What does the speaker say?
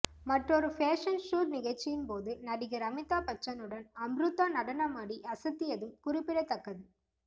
மற்றொரு fashion show நிகழ்ச்சியின் போது நடிகர் அமிதாப் பச்சனுடன் அம்ருதா நடனமாடி அசத்தியதும் குறிப்பிடத்தக்கது